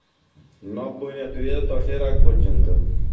নব্বই না দু’য়ের দশের পর্যন্ত.